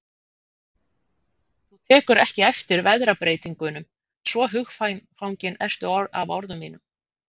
Þú tekur ekki eftir veðrabreytingunum, svo hugfangin ertu af orðum mínum.